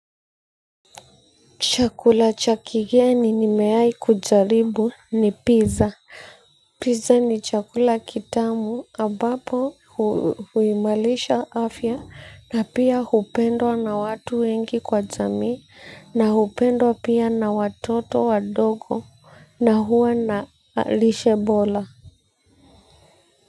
Chakula cha kigeni nimewai kujaribu ni pizza. Pizza ni chakula kitamu ambapo huimarisha afya na pia hupendwa na watu wengi kwa jamii na hupendwa pia na watoto wadogo na huwa na lishe bora.